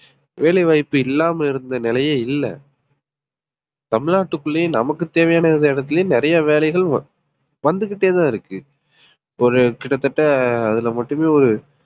வேலை வாய்ப்பு இல்லாம இருந்த நிலையே இல்லை தமிழ்நாட்டுக்குள்ளேயே நமக்கு தேவையான எந்த இடத்திலேயும் நிறைய வேலைகள் வந்துகிட்டேதான் இருக்கு ஒரு கிட்டத்தட்ட அதிலே மட்டுமே ஒரு